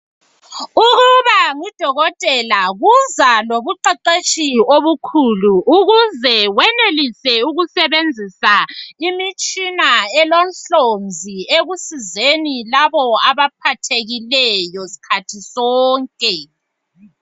Ukuba ngudokotela kuza lobuqeqetshi obukhulu ukuze wenelise ukusebenzisa imitshina elohlonzi ekusizeni labo abaphathekileyo sikhathi sonke.